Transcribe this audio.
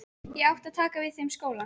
Ég átti að taka við þeim skóla.